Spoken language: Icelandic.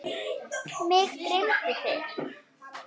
Mig dreymdi þig.